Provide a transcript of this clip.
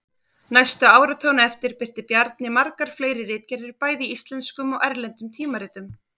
Næstu áratugina á eftir birti Bjarni margar fleiri ritgerðir bæði í íslenskum og erlendum tímaritum.